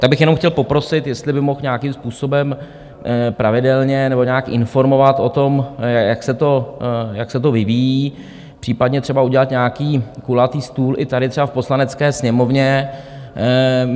Tak bych jenom chtěl poprosit, jestli by mohl nějakým způsobem pravidelně nebo nějak informovat o tom, jak se to vyvíjí, případně třeba udělat nějaký kulatý stůl i tady třeba v Poslanecké sněmovně.